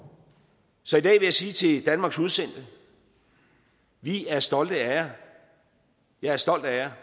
så i dag vil jeg sige til danmarks udsendte vi er stolte af jer jeg er stolt af jer